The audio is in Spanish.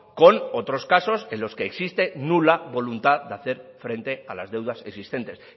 con otros casos en los que existe nula voluntad de hacer frente a las deudas existentes